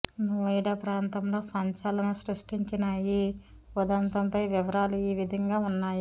నోయిడా ప్రాంతంలో సంచలనం సృష్టించిన ఈ ఉధంతం పై వివరాలు ఈ విధంగా ఉన్నాయి